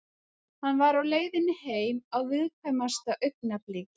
Hann var á leiðinni heim á viðkvæmasta augnabliki.